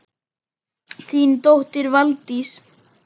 Þín dóttir, Valdís.